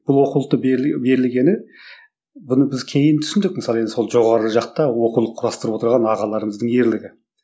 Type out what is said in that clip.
бұл оқулықтың берілгені бұны біз кейін түсіндік мысалы енді жоғары жақта оқулық құрастырып отырған ағаларымыздың ерлігі